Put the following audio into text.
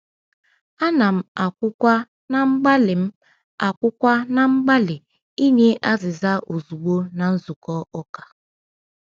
Ana m akwukwa na-agbalị m akwukwa na-agbalị inye azịza ozugbo na nzukọ ụka.